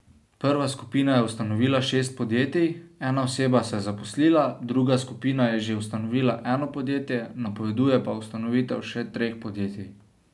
Prva skupina je ustanovila šest podjetij, ena oseba se je zaposlila, druga skupina je že ustanovila eno podjetje, napoveduje pa ustanovitev še treh podjetij.